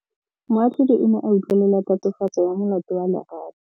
Moatlhodi o ne a utlwelela tatofatsô ya molato wa Lerato.